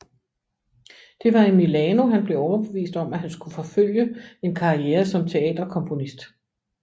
Det var i Milano han blev overbevist om at han skulle forfølge en karriere som teaterkomponist